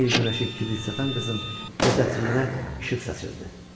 Yeni il günəşi kibrit satan qızın cəsədcəyinə işıq saçırdı.